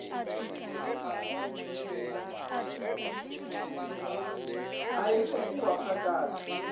a e be kua kgakala